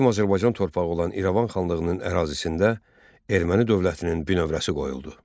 Qədim Azərbaycan torpağı olan İrəvan xanlığının ərazisində Erməni dövlətinin binövrəsi qoyuldu.